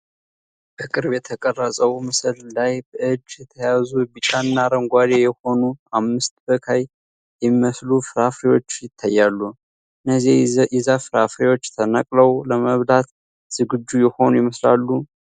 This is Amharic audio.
በቅርብ የተቀረጸው ምስል ላይ በእጅ የተያዙ ቢጫና አረንጓዴ የሆኑ አምስት በካይ የሚመስሉ ፍራፍሬዎች ይታያሉ፤ እነዚህ የዛፍ ፍሬዎች ተነቅለው ለመብላት ዝግጁ የሆኑ ይመስላሉ?